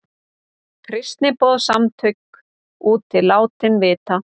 Kristniboðssamtök úti látin vita